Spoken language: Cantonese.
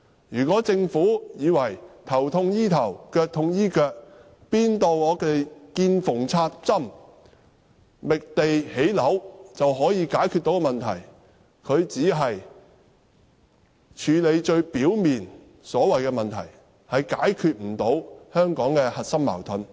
如果政府以為"頭痛醫頭、腳痛醫腳"，"見縫插針"地覓地建屋便可以解決問題，它只是處理最表面的問題，無法解決香港的核心矛盾。